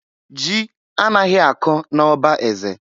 Ji anaghị akọ n' ọba eze.